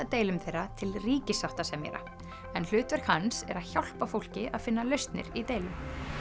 deilum þeirra til ríkissáttasemjara en hlutverk hans er að hjálpa fólki að finna lausnir í deilum